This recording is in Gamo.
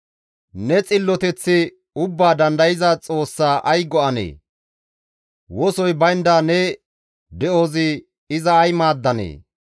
Ne xilloteththi Ubbaa Dandayza Xoossaa ay go7anee? Wosoy baynda ne de7ozi iza ay maaddanee?